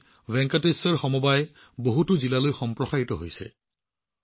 আজি ভেংকটেশ্বৰ কোঅপাৰেটিভ মুহূৰ্ততে বহুতো জিলালৈ সম্প্ৰসাৰিত হৈছে